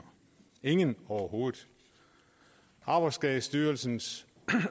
ingen overhovedet arbejdsskadestyrelsens